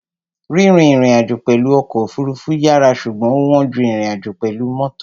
Rírìn ìrìnàjò pẹ̀lú ọkọ̀ òfurufú yàrá ṣùgbọ́n ó wọ́n ju ìrìnàjò pẹ̀lú mọ́tò.